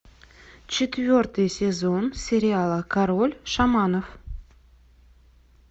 четвертый сезон сериала король шаманов